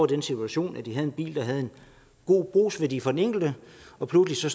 den situation at de havde en bil der havde en god brugsværdi for den enkelte nu pludselig